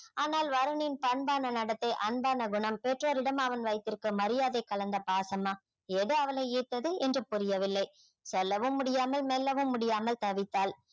ஆனால் வருணின் பண்பான நடத்தை அன்பான குணம் பெற்றோரிடம் அவன் வைத்திருக்கும் மரியாதை கலந்த பாசமா எது அவளை ஈர்த்தது என்று புரியவில்லை சொல்லவும் முடியாமல் மெல்லவும் முடியாமல் தவித்தாள்